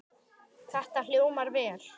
Þetta hljómar vel.